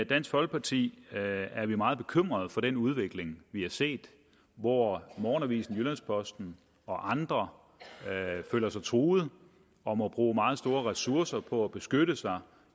dansk folkeparti er vi meget bekymrede for den udvikling vi har set hvor morgenavisen jyllands posten og andre føler sig truet og må bruge meget store ressourcer på at beskytte sig